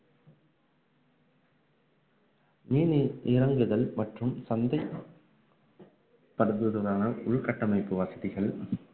மீனை இறங்குதல் மற்றும் சந்தை படுத்துவதற்கான உள்கட்டமைப்பு வசதிகள்